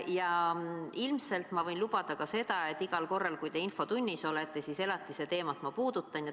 Ilmselt võin ma lubada ka seda, et iga kord, kui te infotunnis olete, puudutan ma elatise teemat.